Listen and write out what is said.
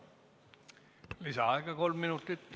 Lisaaega kolm minutit.